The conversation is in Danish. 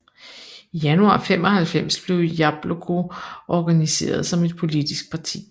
I januar 1995 blev Jabloko organiseret som et politisk parti